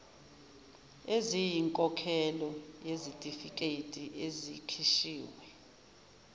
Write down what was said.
eziyinkokhelo yezitifiketi ezikhishiwe